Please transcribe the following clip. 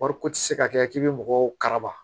Wariko tɛ se ka kɛ k'i bɛ mɔgɔw karaba